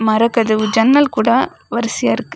மர கதவு ஜன்னல் கூட ஒரு சேர்ருக்கு .